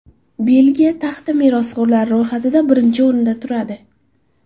Belgiya taxti merosxo‘rlari ro‘yxatida birinchi o‘rinda turadi.